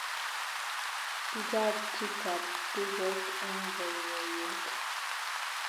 Kigaat chitab duget eng boiboiyet